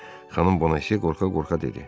Xanım Bonase qorxa-qorxa dedi.